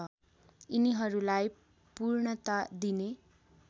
यिनीहरूलाई पूर्णता दिने